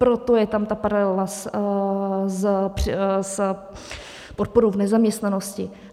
Proto je tam ta paralela s podporou v nezaměstnanosti.